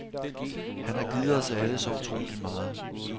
Han har givet os alle så utroligt meget.